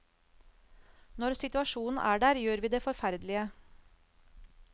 Når situasjonen er der, gjør vi det forferdelige.